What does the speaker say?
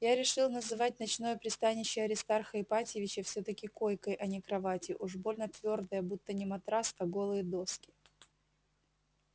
я решил называть ночное пристанище аристарха ипатьевича всё-таки койкой а не кроватью уж больно твёрдая будто не матрас а голые доски